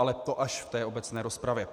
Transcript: Ale to až v té obecné rozpravě.